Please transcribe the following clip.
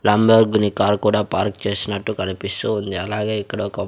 Lamborghini car కూడా park చేసినట్టు కనిపిస్తూ ఉంది అలాగే ఇక్కడొక--